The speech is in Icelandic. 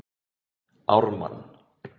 Ármann